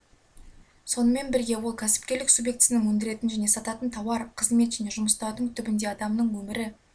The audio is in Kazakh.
сонымен бірге ол кәсіпкерлік субъектісінің өндіретін және сататын тауар қызмет және жұмыстардың түбінде адамның өмірі